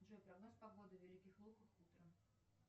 джой прогноз погоды в великих луках утром